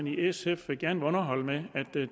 i sf gerne vil underholde med at